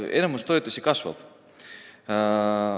Enamik toetusi kasvab.